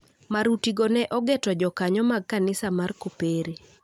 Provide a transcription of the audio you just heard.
Marutigo ne ogeto jokanyo mag Kanisa mar Kopere